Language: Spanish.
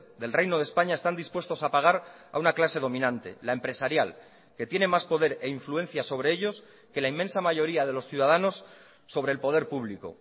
del reino de españa están dispuestos a pagar a una clase dominante la empresarial que tiene más poder e influencia sobre ellos que la inmensa mayoría de los ciudadanos sobre el poder público